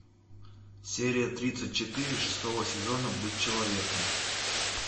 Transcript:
серия тридцать четыре шестого сезона быть человеком